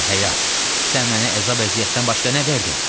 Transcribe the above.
Ey həyat, sən mənə əzab-əziyyətdən başqa nə verdin?